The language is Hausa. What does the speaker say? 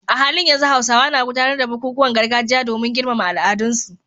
A halin yanzu Hausawa na gudanar da bukukuwan gargajiya domin girmama al'adunsu